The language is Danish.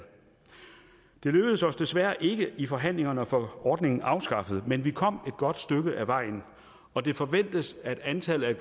det lykkedes os desværre ikke i forhandlingerne at få ordningen afskaffet men vi kom et godt stykke ad vejen og det forventes at antallet